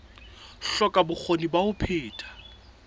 hloka bokgoni ba ho phetha